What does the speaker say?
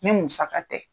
Ni musaka tɛ